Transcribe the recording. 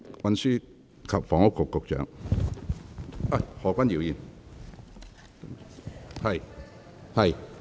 運輸及房屋局局長，請發言。